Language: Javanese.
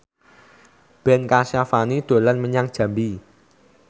Ben Kasyafani dolan menyang Jambi